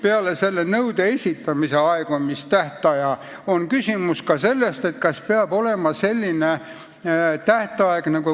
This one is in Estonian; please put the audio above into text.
Peale selle nõude esitamise aegumistähtaja on küsimus veel selles, kas peab olema võla kustumise tähtaeg.